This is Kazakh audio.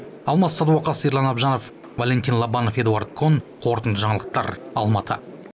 алмас садуақас ерлан әбжанов валентин лобанов эдуард кон қорытынды жаңалықтар алматы